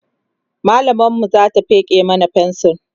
mallamar mu Zata feke mana fensir